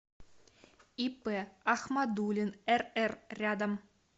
ип ахмадуллин рр рядом